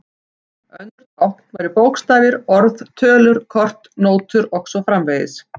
Önnur tákn væru bókstafir, orð, tölur, kort, nótur og svo framvegis.